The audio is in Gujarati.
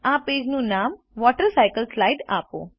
આ પેજનું નામ વોટરસાયકલસ્લાઇડ આપો